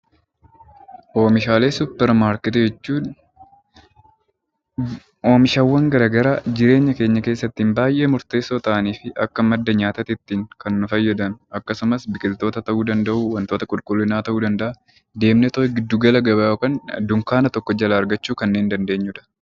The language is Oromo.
Oomishaalee suupparmaarkeetii jechuun oomishaaleewwan garaagaraa jireenya keenya keessatti baay'ee murteessoo ta'anii fi Akka madda nyaataatti kan nu fayyadan akkasumas biqiloota ta'uu danda'u . Deemnee giddu gala gabaa ta'uu danda'a dunkaana tokko jalaa kan argannudha .